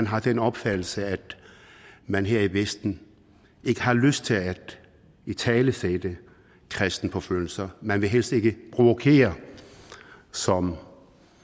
har den opfattelse at man her i vesten ikke har lyst til at italesætte kristenforfølgelser man vil helst ikke provokere som